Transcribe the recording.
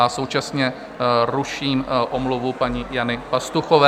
A současně ruším omluvu paní Jany Pastuchové.